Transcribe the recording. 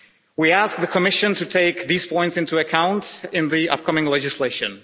We ask the Commission to take these points into account in the upcoming legislation.